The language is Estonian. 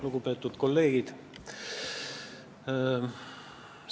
Lugupeetud kolleegid!